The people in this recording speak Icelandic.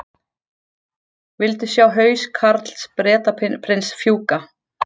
Vildu sjá haus Karls Bretaprins fjúka